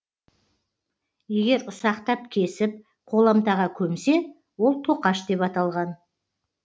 егер ұсақтап кесіп қоламтаға көмсе ол тоқаш деп аталған